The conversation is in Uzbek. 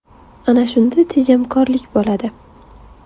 Ana shunda tejamkorlik bo‘ladi.